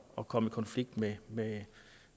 at komme i konflikt med med